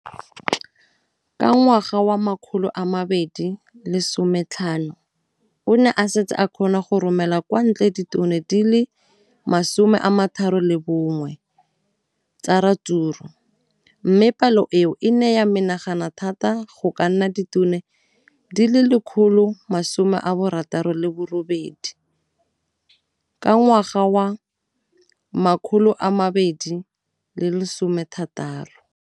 Ka ngwaga wa 2015, o ne a setse a kgona go romela kwa ntle ditone di le 31 tsa ratsuru mme palo eno e ne ya menagana thata go ka nna ditone di le 168 ka ngwaga wa 2016.